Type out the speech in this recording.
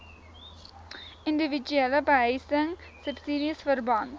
indiwiduele behuisingsubsidies verband